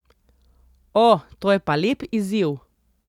O to je pa lep izziv.